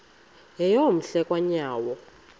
yeyom hle kanyawo